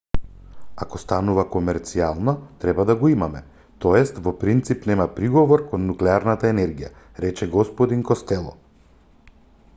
ако станува комерцијално треба да го имаме т.е. во принцип нема приговор кон нуклеарната енергија рече г костело